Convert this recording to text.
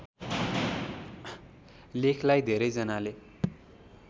लेखलाई धेरैजनाले